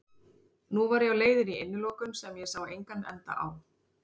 Nú var ég á leiðinni í innilokun sem ég sá engan enda á.